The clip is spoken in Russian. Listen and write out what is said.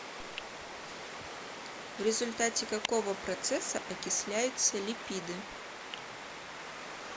в результате какого процесса окисляются липиды